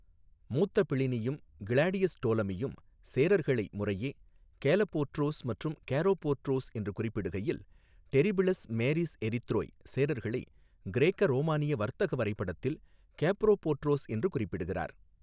மூத்த பிளினியும் கிளாடியஸ் டோலெமியும் சேரர்களை முறையே கேலபோட்ரோஸ் மற்றும் கெரோபோட்ரோஸ் என்று குறிப்பிடுகையில், பெரிபிளஸ் மேரிஸ் எரித்ரேய் சேரர்களை கிரேக்க ரோமானிய வர்த்தக வரைபடத்தில் கெப்ரோபோட்ராஸ் என்று குறிப்பிடுகிறார்.